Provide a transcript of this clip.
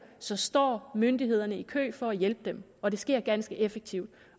så står myndighederne i kø for at hjælpe dem og det sker ganske effektivt